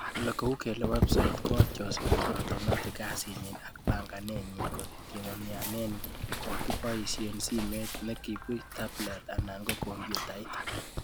Kou kele websiit koadjusten otomatik kasi nyi ak banganet nyi kotegemeane kokakiboishe simet nekibuch, tablet anan computait